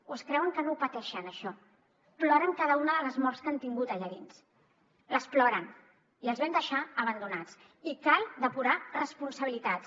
o es creuen que no ho pateixen això ploren cada una de les morts que han tingut allà dins les ploren i els van deixar abandonats i cal depurar responsabilitats